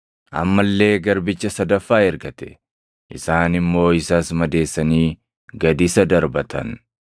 Amma illee garbicha sadaffaa ergate; isaan immoo isas madeessanii gad isa darbatan.